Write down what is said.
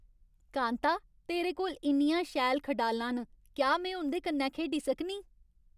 कांता, तेरे कोल इन्नियां शैल खडालां न। क्या में उं'दे कन्नै खेढी सकनीं?